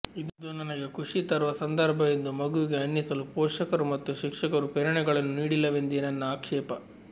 ಇದು ನನಗೆ ಖುಷಿ ತರುವ ಸಂದರ್ಭ ಎಂದು ಮಗುವಿಗೆ ಅನ್ನಿಸಲು ಪೋಷಕರು ಮತ್ತು ಶಿಕ್ಷಕರೂ ಪ್ರೇರಣೆಗಳನ್ನು ನೀಡಿಲ್ಲವೆಂದೇ ನನ್ನ ಆಕ್ಷೇಪ